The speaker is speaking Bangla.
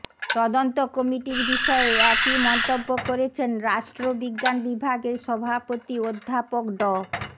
তদন্ত কমিটির বিষয়ে একই মন্তব্য করেছেন রাষ্ট্রবিজ্ঞান বিভাগের সভাপতি অধ্যাপক ড